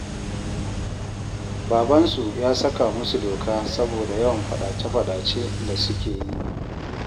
Babansu ya saka musu doka saboda yawan faɗace-faɗace da suke yi